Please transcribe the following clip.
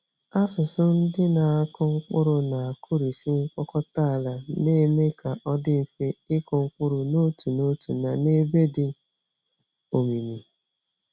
Asụsụ ndị na-akụ mkpụrụ na-akụrisị mkpọkọta ala, na-eme ka ọ dị mfe ịkụ mkpụrụ n'otu n'otu na n'ebe dị omimi.